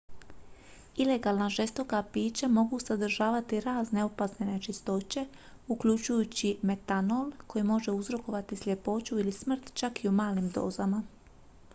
ilegalna žestoka pića mogu sadržavati razne opasne nečistoće uključujući metanol koji može uzrokovati sljepoću ili smrt čak i u malim dozama